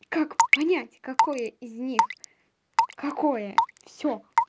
как понять какое из них какое всё